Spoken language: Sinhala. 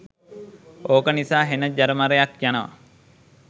ඕක නිසා හෙන ජරමරයක් යනවා.